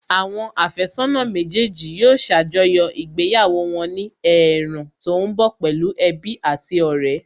Àwọn àfẹ́sọ́nà méjèèjì yóò ṣàjọyọ̀ ìgbéyàwó wọn ní ẹ̀ẹ̀rùn tó ń bọ̀ pẹ̀lú ẹbí àti ọ̀rẹ́